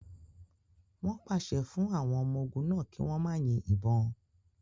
Wọn pase fun awọn ọmọ ogun náa ki wọn ma yin ibon